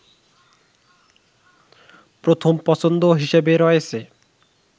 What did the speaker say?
প্রথম পছন্দ হিসেবে রয়েছে